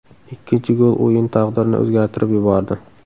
Ikkinchi gol o‘yin taqdirini o‘zgartirib yubordi.